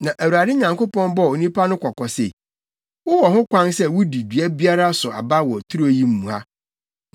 Na Awurade Nyankopɔn bɔɔ onipa no kɔkɔ se, “Wowɔ ho kwan sɛ wudi dua biara so aba wɔ turo yi mu ha;